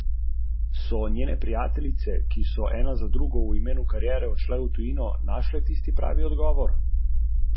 Stopnja brezposelnosti je ostala petodstotna.